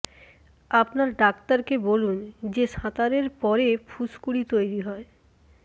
আপনার ডাক্তারকে বলুন যে সাঁতারের পরে ফুসকুড়ি তৈরি হয়